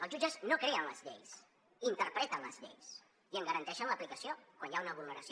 els jutges no creen les lleis interpreten les lleis i en garanteixen l’aplicació quan hi ha una vulneració